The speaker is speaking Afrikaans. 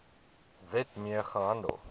wet mee gehandel